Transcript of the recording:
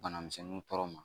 Bana misɛnninw tɔɔrɔ ma